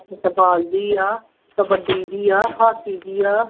Football ਦੀ ਆ, ਕਬੱਡੀ ਦੀ ਆ, ਹਾਕੀ ਦੀ ਆ।